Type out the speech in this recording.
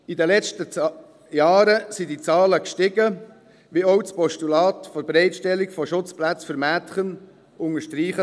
In den letzten Jahren sind die Zahlen gestiegen, wie auch das Postulat zur Bereitstellung von Schutzplätzen für Mädchen unterstreicht.